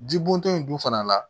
Ji bɔntɔ in dun fana la